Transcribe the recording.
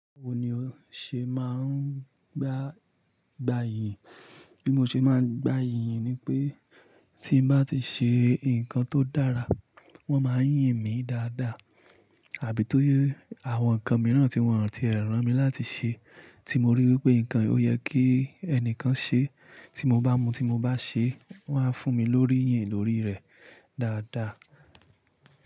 Báwo ni o ṣe máa ń gba ìyìn? Bí mo ṣe máa ń gba ìyìn ni pé tí mo bá ti ṣe nǹkan tó dára wọ́n má a yìn mí dáadáa àbí tọ́yẹ́ àwọn nǹkan mìíràn tí wọ́n ti e ràn mí láti ṣe tí mo rí wípé nǹkan yi ó yẹ kí ẹni kan ṣe tí mo bá mu tí mo bá ṣe wọ́n á fún mi lórí yìn lórí rẹ̀ dáadáa.